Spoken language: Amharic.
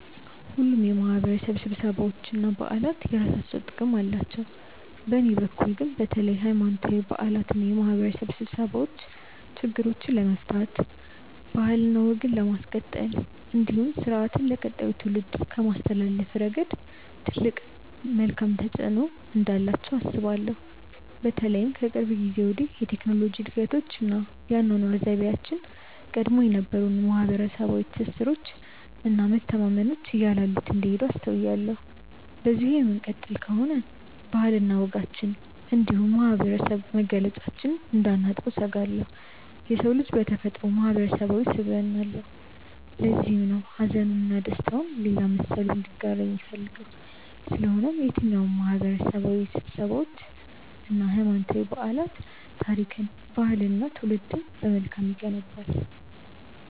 ሁሉም የማህበረሰብ ስብሰባዎች እና በዓላት የየራሳቸው ጥቅም አላቸው። በእኔ በኩል ግን በተለይ ሀይማኖታዊ በዓላት እና የማህበረሰብ ስብሰባዎች ችግሮችን ለመፍታት ባህልና ወግን ለማስቀጠል እንዲሁም ስርአትን ለቀጣዩ ትውልድ ከማስተላለፍ ረገድ ትልቅ መልካም ተፆዕኖ እንዳላቸው አስባለሁ። በተለይም ከቅርብ ጊዜ ወዲህ የቴክኖሎጂ እድገቶች እና የአኗኗር ዘይቤያችን ቀድሞ የነበሩንን ማህበረሰባዊ ትስስሮች እና መተማመኖች እያላሉት እንደሄዱ አስተውያለሁ። በዚሁ የምንቀጥል ከሆነ ባህልና ወጋችንን እንዲሁም የማህበረሰብ መገለጫችንን እንዳናጣው እሰጋለሁ። የሰው ልጅ በተፈጥሮው ማህበረሰባዊ ስብዕና አለው። ለዚህም ነው ሀዘኑን እና ደስታውን ሌላ መሰሉ እንዲጋራው የሚፈልገው። ስለሆነም የትኛውም ማህበረሰባዊ ስብሰባዎች እና ሀይማኖታዊ በዓላት ታሪክን፣ ባህልንን እና ትውልድን በመልካም ይገነባል።